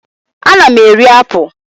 Ana m eri apụl.